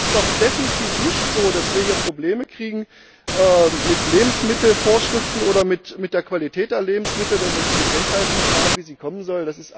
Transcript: Es ist doch definitiv nicht so, dass wir hier Probleme kriegen mit Lebensmittelvorschriften oder mit der Qualität der Lebensmittel, wenn wir diese Kennzeichnung so haben, wie sie kommen soll.